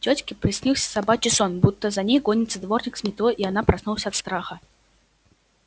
тётке приснился собачий сон будто за ней гонится дворник с метлой и она проснулась от страха